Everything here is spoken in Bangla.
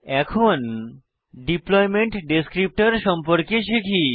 এখন ডিপ্লয়মেন্ট ডেসক্রিপ্টর সম্পর্কে শিখি